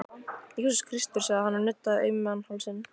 Jesús Kristur, sagði hann og nuddaði auman hálsinn.